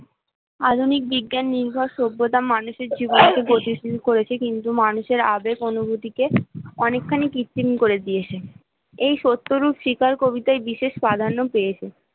আধুনিক বিজ্ঞান নির্ভর সভ্যতা মানুষের জীবন কে করেছে কিন্তু মানুষের আবেগ অনুভূতিকে অনেকখানি কৃত্রিম করে দিয়েছে, এই সত্যরূপ শিকার কবিতায় বিশেষ প্রাধান্য পেয়েছে